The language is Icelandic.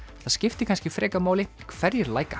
það skiptir kannski frekar máli hverjir